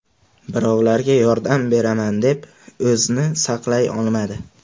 Birovlarga yordam beraman deb o‘zini saqlay olmadi.